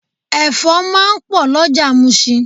Ẹ̀fọ́ máa ń pò lọjà musin.